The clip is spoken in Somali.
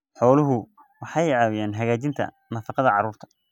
Xooluhu waxay caawiyaan hagaajinta nafaqada carruurta.